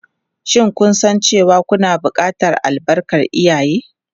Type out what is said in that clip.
Shin kun san cewa kuna buƙatar albarkar iyaye?